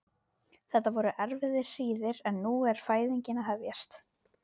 Þetta voru erfiðar hríðir en nú er fæðingin að hefjast.